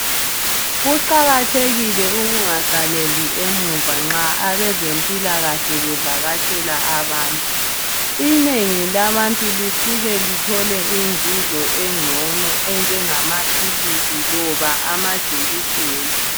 Kuqakathekile ukungasaleli emuva nxa abezempilakahle bevakatshela abantu. Inengi labantu lisuke lithole inzuzo engcono enjengamaphilizi loba amajekiseni.